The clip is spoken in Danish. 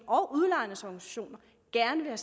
gerne vil